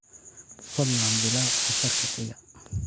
fadlan bilow casharka xiga